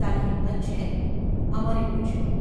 તારી હિંમત છે? ’ અમરે પૂછ્યું.